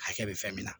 Hakɛ bɛ fɛn min na